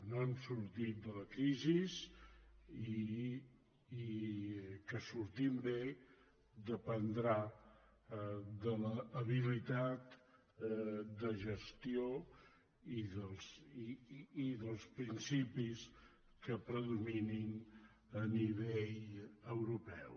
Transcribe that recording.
no hem sortit de la crisi i que en sortim bé dependrà de l’habilitat de gestió i dels principis que predominin a nivell europeu